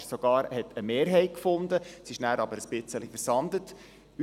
Es fand sogar eine Mehrheit, aber es versandete danach ein bisschen.